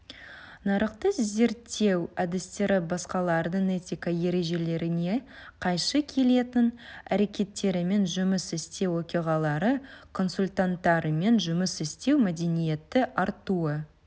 нарықты зерттеу әдістері басқалардың этика ережелеріне қайшы келетін әрекеттерімен жұмыс істеу оқиғалары консультанттармен жұмыс істеу мәдениеті артуы